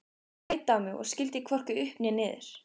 Hún leit á mig og skildi hvorki upp né niður.